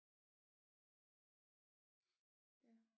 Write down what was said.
Ja